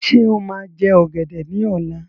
Ṣé́ ó máa jẹ ọgẹdẹ ní ọ̀la?